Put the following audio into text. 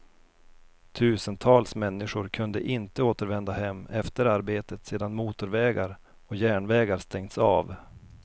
Tusentals människor kunde inte återvända hem efter arbetet sedan motorvägar och järnvägar stängts av.